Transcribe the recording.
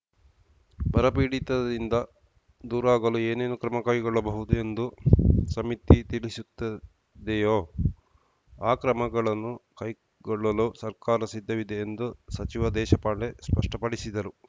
ಬರಪೀಡಿತದಿಂದ ದೂರಾಗಲು ಏನೇನು ಕ್ರಮ ಕೈಗೊಳ್ಳಬಹುದು ಎಂದು ಸಮಿತಿ ತಿಳಿಸುತ್ತದೆಯೋ ಆ ಕ್ರಮಗಳನ್ನು ಕೈಗೊಳ್ಳಲು ಸರ್ಕಾರ ಸಿದ್ಧವಿದೆ ಎಂದು ಸಚಿವ ದೇಶಪಾಂಡೆ ಸ್ಪಷ್ಟಪಡಿಸಿದರು